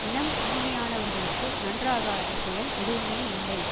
இனம் தூய்மையானவர்களுக்கு நன்றாகாத செயல் எதுவுமே இல்லை